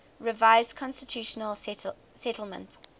revised constitutional settlement